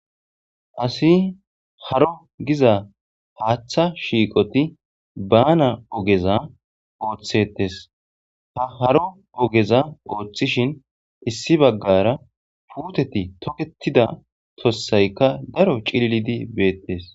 asi haro giza haaththa shiiqoti baana ogeza ooththetes ha haro ogeza ooththishin issi baggara puuteti toketida tossaykka daro cililidi beettes